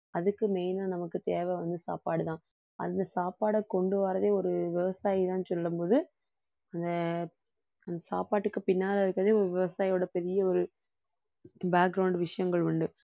அதுக்கு main ஆ நமக்கு தேவை வந்து சாப்பாடுதான் அந்த சாப்பாடை கொண்டு வர்றதே ஒரு விவசாயிதான் சொல்லும்போது அந்த அந்த சாப்பாட்டுக்கு பின்னால இருக்கிறதே ஒரு விவசாயியோட பெரிய ஒரு விஷயங்கள் உண்டு